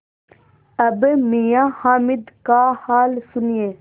अब मियाँ हामिद का हाल सुनिए